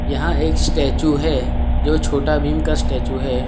यहां एक स्टैचू है जो छोटा भीम का स्टैचू है।